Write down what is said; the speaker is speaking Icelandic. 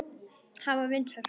Hann var vinsæll þar.